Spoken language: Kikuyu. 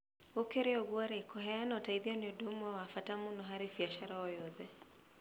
Gũkĩrĩ ũguo-rĩ, kũheana ũteithio nĩ ũndũ ũmwe wa bata mũno harĩ biacara o yothe.